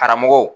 Karamɔgɔw